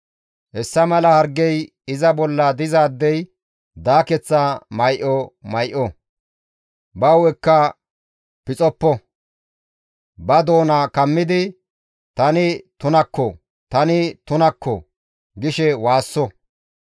Hessa mala hargey iza bolla dizaadey daakeththa may7o may7o; ba hu7ekka pixoppo; ba doona kammidi, ‹Tani tunakko! Tani tunakko!› gishe waasso.